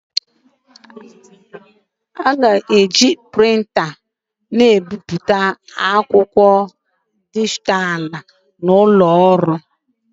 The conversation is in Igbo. A na-eji ngwa nbipute nke a na-akpọ Prịnta bipụta akwụkwọ dijitalụ n'ụlọ ọrụ